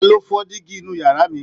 Ta ló fọ dígí inú yàrá mi?